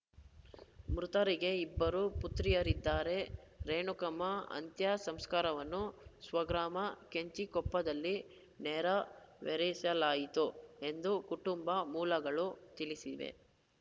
ಮೃತರಿಗೆ ಇಬ್ಬರು ಪುತ್ರಿಯರಿದ್ದಾರೆ ರೇಣುಕಮ್ಮ ಅಂತ್ಯ ಸಂಸ್ಕಾರವನ್ನು ಸ್ವಗ್ರಾಮ ಕೆಂಚಿಕೊಪ್ಪದಲ್ಲಿ ನೆರವೇರಿಸಲಾಯಿತು ಎಂದು ಕುಟುಂಬ ಮೂಲಗಳು ತಿಳಿಸಿವೆ